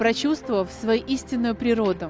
прочувствовав свой истинную природу